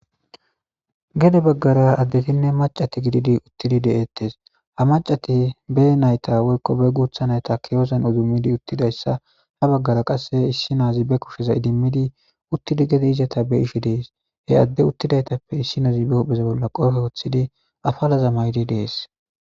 Gede baggara addetinne macati gididi uttidi deeettes ha macati bee nayta woykko be guutha nayta keyozan udummidi uttidayssa ha baggara qasse issi naazi be kusheza idimmidi uttidi gede izata be ishe dees he adde uttidaytappe issi nozi be hupheza bolla qoofe woththidi afalaza maydi dees.